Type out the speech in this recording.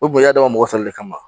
U kun y'a dabɔ mɔgɔ sɔrɔ de kama